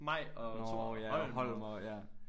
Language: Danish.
Maj og Thor og Holm